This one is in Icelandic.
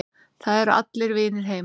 Það eru allir vinir heima.